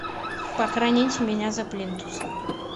похороните меня за плинтусом